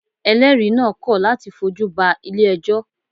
Eléèri naa kọ̀ láti fojú ba Ilé ẹjọ́